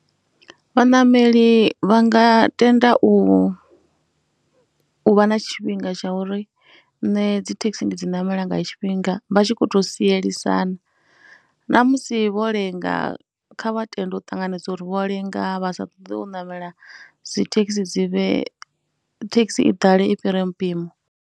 Vhaṋameli vha nga tenda u vha na tshifhinga tsha uri nṋe dzi thekhisi ndi dzi namela nga tshifhinga, vha tshi khou tou sielisana. Namusi vho lenga, kha vha tende ur ṱanganedza uri vho lenga vha sa ṱoḓe u ṋamela dzi thekhisi dzi vhe, thekhisi i ḓale i fhire mmpimo.